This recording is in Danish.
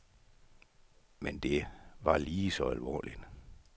Men det var lige så alvorligt.